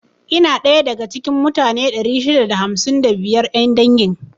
Ina daya da ga cikin mutane 655 'yan dangin.